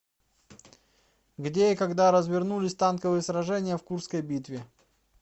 где и когда развернулись танковые сражения в курской битве